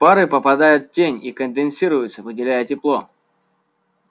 пары попадают в тень и конденсируются выделяя тепло